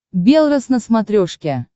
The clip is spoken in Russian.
белрос на смотрешке